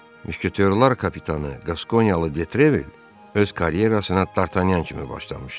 Müşketyorlar kapitanı, Qaskonyalı Detrevel öz karyerasına Dartanyan kimi başlamışdı.